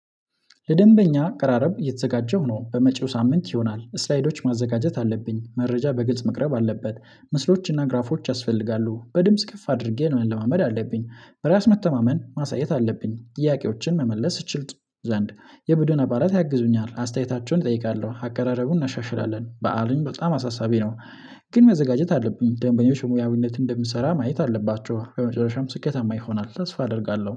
ለደንበኛ አቀራረብ እየተዘጋጀሁ ነው በመጪው ሳምንት ይሆናል ስላይዶች ማዘጋጀት አለብኝ መረጃ በግጽ መቅረብ አለበት። ምስሎችና ግራፎች ያስፈልጋሉ በድምጽ ከፍ አድርጌ መለማመድ አለብኝ። በራስ መተማመን ማሳየት አለብኝ ጥያቄዎችን መመለስ እችልጥ። ዘንድ የቡድን አባላት ያግዙኛል አስተያየታቸውን እጠይቃለሁ አከራረቡን እናሻሽላለን። በዓሉን በጣም አሳሳቢ ነው። ግን መዘጋጀት አለብን። ደንበኞች ሙያዊነት እንደምሰራ ማየት አለባቸው። በመጨረሻም ስኬታማ ይሆናል ተስፋ አደርጋለሁ